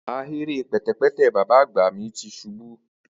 ahere pẹtẹpẹtẹ baba agba mi ti bi ṣubu